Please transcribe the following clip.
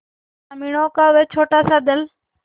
ग्रामीणों का वह छोटासा दल